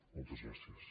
moltes gràcies